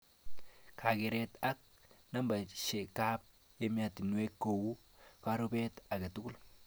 Kakeret ak nambeshekab ematiwek kou karubet aketugul